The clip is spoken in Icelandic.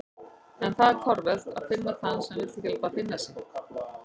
En það er torvelt að finna þann sem vill ekki láta finna sig.